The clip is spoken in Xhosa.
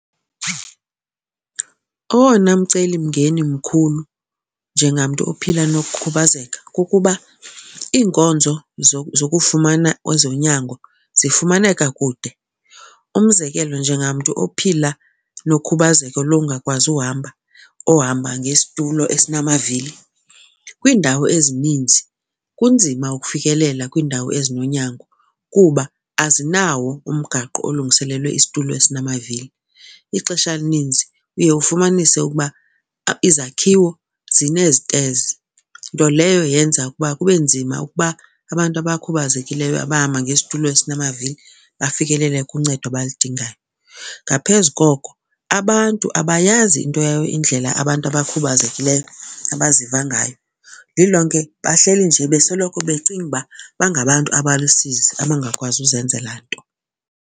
Owona mcelimngeni mkhulu njengamntu ophila nokukhubazeka kukuba iinkonzo zokufumana ezonyango zifumaneka kude. Umzekelo, njengamntu ophila nokhubazeko lokungakwazi uhamba, ohamba ngesitulo esinamavili, kwiindawo ezininzi kunzima ukufikelela kwiindawo ezinonyango kuba azinawo umgaqo olungiselelwe isitulo esinamavili. Ixesha elininzi uye ufumanise ukuba izakhiwo zineztezi nto leyo yenza ukuba kube nzima ukuba abantu abakhubazekileyo abahamba ngestulo esinamavili bafikelele kuncedo abaludingayo. Ngaphezu koko abantu abayazi into indlela abantu abakhubazekileyo abaziva ngayo. Lilonke bahleli nje besoloko becinga uba bangabantu abalusizi abangakwazi ukuzenzela nto.